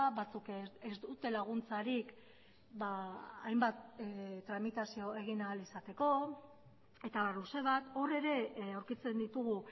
batzuk ez dute laguntzarik hainbat tramitazio egin ahal izateko eta abar luze bat hor ere aurkitzen ditugu